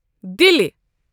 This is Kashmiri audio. دِلہِ